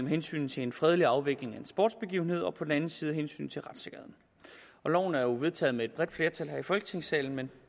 hensynet til en fredelig afvikling af en sportsbegivenhed og på den anden side hensynet til retssikkerheden loven er vedtaget med et bredt flertal her i folketingssalen men